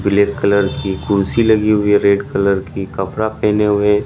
Black colour की कुर्सी लगी हुई है रेड कलर की कपड़ा पहने हुए हैं।